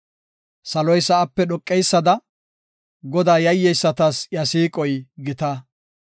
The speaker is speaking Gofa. Saloy sa7ape dhoqeysada, Godaa yayyeysatas iya siiqoy gita.